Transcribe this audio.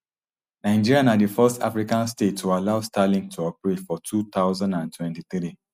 nigeria na di first african state to allow starlink to operate for two thousand and twenty-three